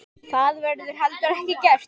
Það verður heldur ekki gert.